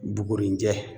Bugurijɛ